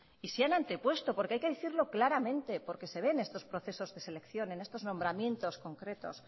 y se han antepuesto porque hay que decirlo claramente porque se ve en estos procesos de selección en estos nombramientos concretos